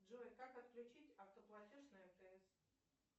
джой как отключить автоплатеж на мтс